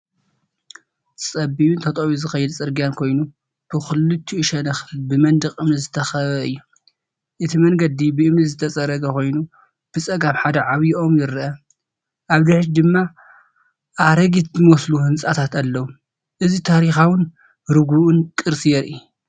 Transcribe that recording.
ጸቢብን ተጠውዮ ዝኸድ ጽርግያ ኮይኑ፡ ብኽልቲኡ ሸነኽ ብመንደቕ እምኒ ዝተኸበበ እዩ። እቲ መንገዲ ብእምኒ ዝተጸረገ ኮይኑ፡ ብጸጋም ሓደ ዓቢይ ኦም ይርአ። ኣብ ድሕሪት ድማ ኣረጊት ዝመስሉ ህንጻታት ኣለዉ። እዚ ታሪኻውን ርጉእን ቅርሲ የርኢ።